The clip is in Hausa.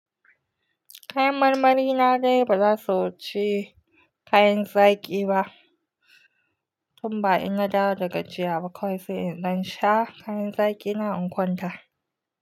Kayan marmari na dai ba za su wuce kayan zaƙi ba, tun ba ina dawo daga jiyya ba kawai sai in ɗan sha kayan zaƙina in kwanta.